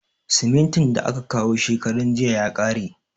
Simintin da aka kawo shekaran jiya ya kare.